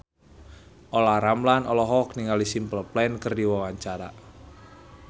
Olla Ramlan olohok ningali Simple Plan keur diwawancara